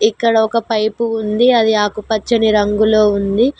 ఇక్కడ ఒక పైపు ఉంది అది ఆకుపచ్చని రంగులో ఉంది.